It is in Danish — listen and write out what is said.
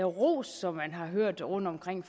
ros som man har hørt rundtomkring